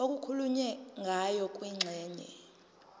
okukhulunywe ngayo kwingxenye